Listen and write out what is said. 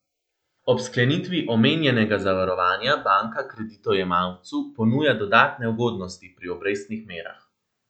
Ob sklenitvi omenjenega zavarovanja banka kreditojemalcu ponuja dodatne ugodnosti pri obrestnih merah.